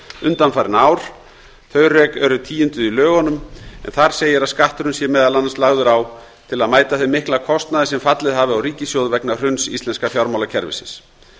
undanfarin ár þau rök eru tíunduð í lögunum en þar segir að skatturinn sé meðal annars lagður á til að mæta þeim mikla kostnaði sem fallið hafi á ríkissjóð vegna hruns íslenska fjármálakerfisins